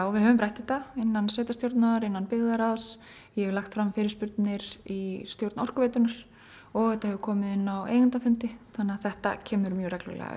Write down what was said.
við höfum rætt þetta innan sveitarstjórnar innan byggðaráðs ég hef lagt fram fyrirspurnir í stjórn Orkuveitunnar og þetta hefur komið inn á eigendafundi þannig að þetta kemur mjög reglulega